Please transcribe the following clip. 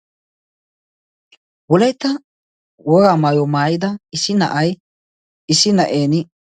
Wolaytta wogaa maayuwa maayida issi na"ay issi na"eeni...